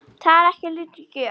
Það er ekki lítil gjöf.